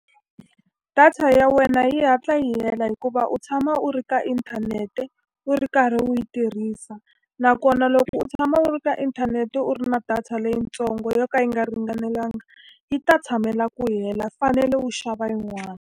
Data ya wena yi hatla yi hela hikuva u tshama u ri ka inthanete, u ri karhi u yi tirhisa. Nakona loko u tshama u ri ka inthanete u ri na data leyitsongo yo ka yi nga ringanelangi, yi ta tshamela ku hela. U fanele u xava yin'wani.